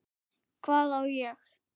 Hvað á ég?